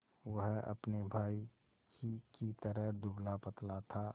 वह अपने भाई ही की तरह दुबलापतला था